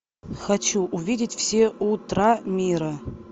хочу увидеть все утра мира